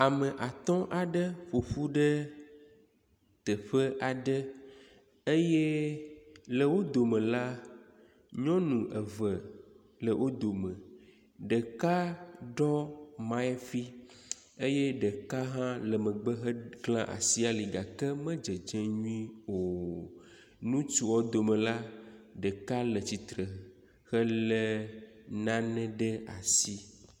Ame atɔ aɖe ƒoƒu ɖe teƒe aɖe eye le wo dome la, nyɔnu eve le wo dome. Ɖeka ɖɔ miafi eye ɖeka hã le megbe hegla asi ali gake me dzedzem nyuie o. Ŋutsua dome la, ɖeka le atsitre hele nane ɖe asi.